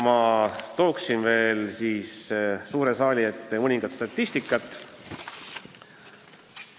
Ma toon veel siia suure saali ette natuke statistikat.